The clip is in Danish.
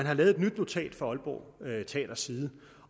har lavet et nyt notat fra aalborg teaters side